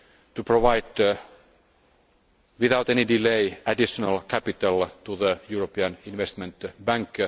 to provide, without any delay, additional capital to the European Investment Bank.